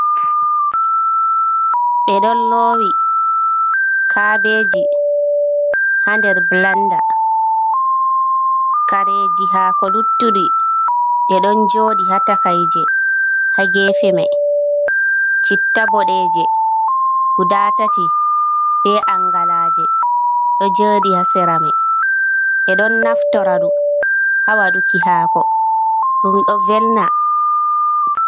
Ɓe ɗon lowi kaabeji ha nder blanda. Kareji hako luttuɗi, ɗe ɗon jooɗi ha takaije ha gefe mai. Citta boɗeeje guda tati, be angalaaje ɗo jooɗi ha sera mai. Ɓe ɗon naftora ɗum ha waɗuki hako, ɗum ɗo velna.